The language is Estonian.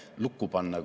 Hea Riigikogu!